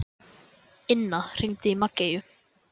Inna, hringdu í Maggeyju.